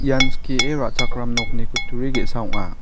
ian skie ra·chakram nokni kutturi ge·sa ong·a.